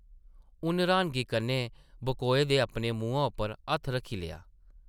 उन्न र्हानगी कन्नै बकोए दे अपने मुहां उप्पर हत्थ रक्खी लेआ ।